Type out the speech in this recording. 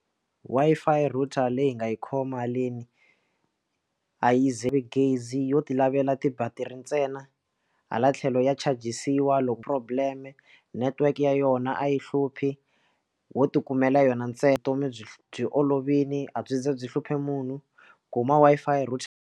Wi-Fi router leyi nga yi khomi malini a yi ze gezi yo ti lavela ti-battery ntsena hala tlhelo ya charge-siwa loko problem network ya yona a yi hluphi wo ti kumela yona ntsena vutomi byi byi olovile a byi za byi hluphi munhu kuma Wi-Fi router.